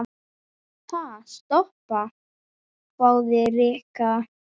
Ha, stoppa? hváði Rikka.